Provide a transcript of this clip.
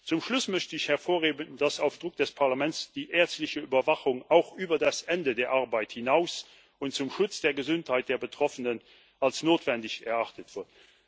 Zum Schluss möchte ich hervorheben, dass auf Druck des Parlaments die ärztliche Überwachung auch über das Ende der Arbeit hinaus und zum Schutz der Gesundheit der Betroffenen als notwendig erachtet wird.